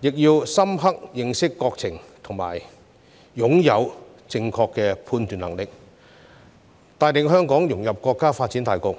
亦要深刻認識國情和擁有正確的判斷能力，帶領香港融入國家發展大局。